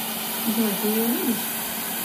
джой ты ее любишь